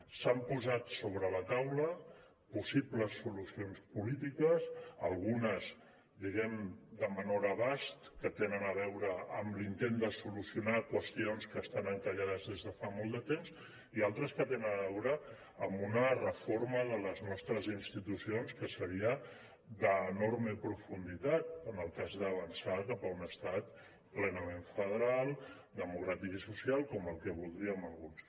s’han posat sobre la taula possibles solucions polítiques algunes diguem·ne de menor abast que tenen a veure amb l’intent de solucionar qüestions que estan en·callades des de fa molt de temps i altres que tenen a veure amb una reforma de les nostres institucions que seria d’enorme profunditat en el cas d’avançar cap a un es·tat plenament federal democràtic i social com el que voldríem alguns